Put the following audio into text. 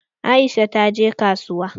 Aisha ta je kasuwa.